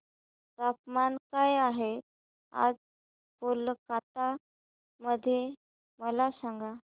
तापमान काय आहे आज कोलकाता मध्ये मला सांगा